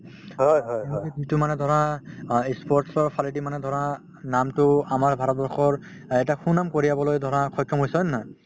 মানে ধৰা অ ই sport ৰ ফালেদি মানে ধৰা নামটো আমাৰ ভাৰতবৰ্ষৰ অ এটা সুনাম কঢ়িয়াবলৈ ধৰা সক্ষম হৈছে হয় নে নহয়